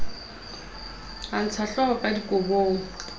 a ntshahlooho ka dikobong a